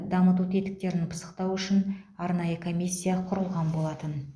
дамыту тетіктерін пысықтау үшін арнайы комиссия құрылған болатын